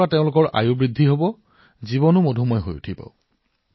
ই কৃষকসকলৰ উপাৰ্জন বৃদ্ধি কৰিব আৰু তেওঁলোকৰ জীৱনলৈ মিঠাময় কৰি তুলিব